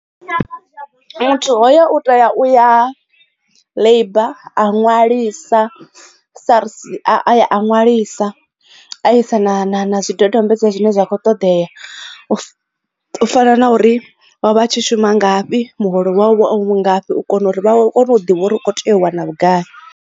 Muthu hoyo u tea u ya labour a ṅwalisa SARS a ṅwalisa a i sa na zwidodombedzwa zwine zwa kho ṱoḓea u fana na uri o vha a tshi shuma ngafhi muholo wavho ngafhi u kona uri vha kone u ḓivha uri u kho tea u wana vhugai.